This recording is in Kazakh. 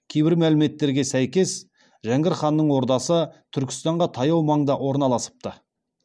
кейбір мәліметтерге сәйкес жәңгір ханның ордасы түркістанға таяу маңда орналасыпты